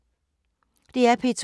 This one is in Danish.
DR P2